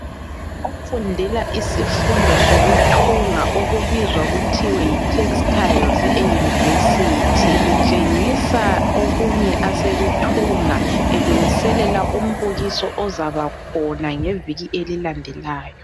Ofundela isifundo sokuthunga okubizwa kuthiwa yi Textiles eUniversity. Utshengisa okunye asekuthunga elungiselela umbukiso ozaba khona ngeviki elilandelayo.